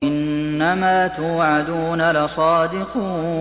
إِنَّمَا تُوعَدُونَ لَصَادِقٌ